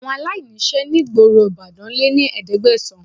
Àwọn aláìníṣẹ́ ní gboro Ìbàdàn lé ní ẹ̀ẹ́dẹ́gbẹ̀sán